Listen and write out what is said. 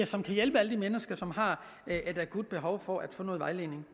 som kan hjælpe alle de mennesker som har et akut behov for at få noget vejledning